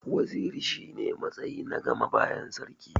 Waziri shi ne matsayi na gama bayan sarki.